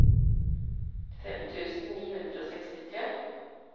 fem tusen ni hundre og sekstitre